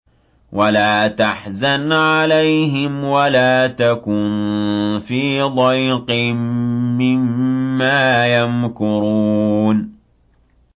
وَلَا تَحْزَنْ عَلَيْهِمْ وَلَا تَكُن فِي ضَيْقٍ مِّمَّا يَمْكُرُونَ